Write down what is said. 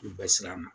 U bɛ siran a ma